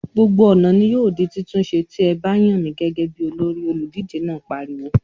"Gbogbo ọ̀nà ni yóò di títún ṣe, tí a bá yàn mí gẹ́gẹ́ bí olórí!" Olùdíje náà pariwo.